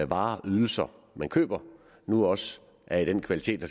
varer ydelser man køber nu også er af den kvalitet og